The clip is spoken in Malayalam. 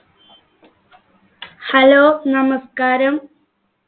hello നമസ്ക്കാരം